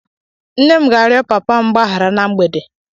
Nne m ga-arịọ Papa m mgbaghara na mgbede.